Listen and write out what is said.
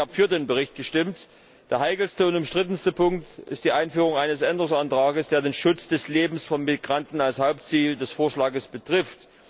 Ich habe für den Bericht gestimmt. Der heikelste und umstrittenste Punkt ist die Einführung eines Änderungsantrags, der den Schutz des Lebens von Migranten als Hauptziel des Vorschlags betrifft.